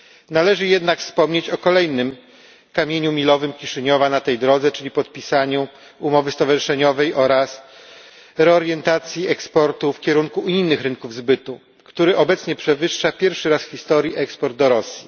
Należy jednak wspomnieć o kolejnym kamieniu milowym Kiszyniowa na tej drodze, czyli podpisaniu umowy stowarzyszeniowej oraz reorientacji eksportu w kierunku innych rynków zbytu, który obecnie przewyższa pierwszy raz w historii eksport do Rosji.